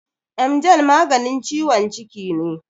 Emgyl maganin ciwon ciki ne.